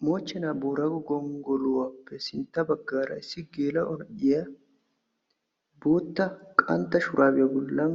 BMochchenaa Booraago gonggoluwappe sintta baggaara issi geela'o na'iya bootta qantta shuraabiya bollan